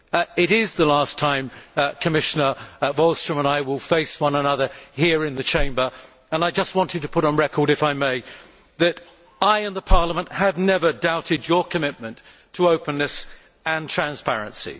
It is the last time, Commissioner Wallström and I will face one another here in the Chamber and I just wanted to put on record, if I may, that I and Parliament have never doubted your commitment to openness and transparency.